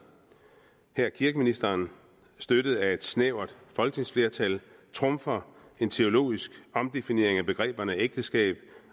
her kirkeministeren støttet af et snævert folketingsflertal trumfer en teologisk omdefinering af begreberne ægteskab